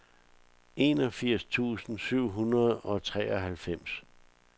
enogfirs tusind syv hundrede og treoghalvfems